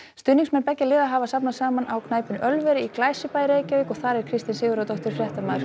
stuðningsmenn beggja liða hafa safnast saman á knæpunni Ölveri í Glæsibæ í Reykjavík og þar er Kristín Sigurðardóttir fréttamaður